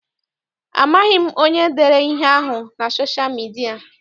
Amaghị m onye dere ihe ahụ na sosha midia.